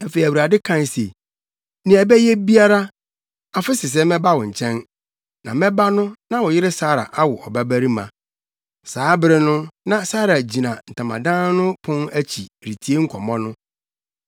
Afei, Awurade kae se, “Nea ɛbɛyɛ biara, afe sesɛɛ mɛba wo nkyɛn, na mɛba no na wo yere Sara awo ɔbabarima.” Saa bere no, na Sara gyina ntamadan no pon akyi, retie nkɔmmɔ no.